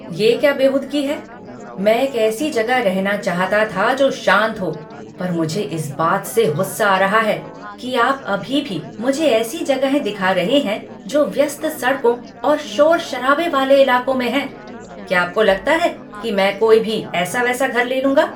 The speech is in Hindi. ये क्या बेहूदगी है? मैं एक ऐसी जगह रहना चाहता था जो शांत हो, पर मुझे इस बात से गुस्सा आ रहा है कि आप अभी भी मुझे ऐसी जगहें दिखा रहे हैं जो व्यस्त सड़कों और शोर शराबे वाले इलाकों में हैं। क्या आपको लगता है कि मैं कोई भी ऐसा वैसा घर ले लूँगा?